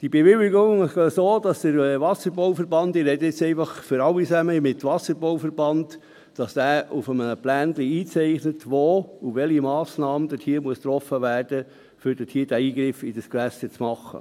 Bei diesen Bewilligungen funktioniert es so, dass der Wasserbauverband – damit spreche ich nun einfach für alle – auf einem Plan einzeichnet, welche Massnahme wo getroffen werden muss, um diesen Eingriff ins Gewässer zu machen.